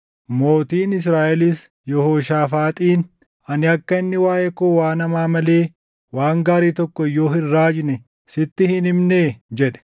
Mootiin Israaʼelis Yehooshaafaaxiin, “Ani akka inni waaʼee koo waan hamaa malee waan gaarii tokko iyyuu hin raajne sitti hin himnee?” jedhe.